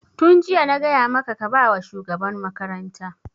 Tun jiya na gaya maka ka ba wa shugaban makaranta!